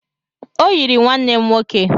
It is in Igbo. Ọ yiri nwanne m nwoke